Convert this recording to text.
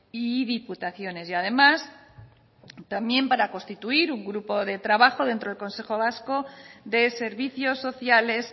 y diputaciones y además también para constituir un grupo de trabajo dentro del consejo vasco de servicios sociales